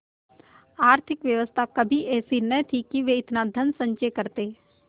आर्थिक व्यवस्था कभी ऐसी न थी कि वे इतना धनसंचय करते